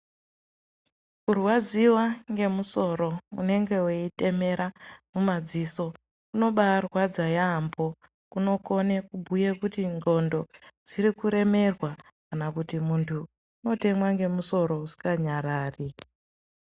Kurwadziswa ngemusoro unenge weitemera mumadziso unobarwadza yambo kunokone kubhuya kuti ndxondo dzirikuremerwa kana kuti muntu unotemwa ngemusoro usinganyarari.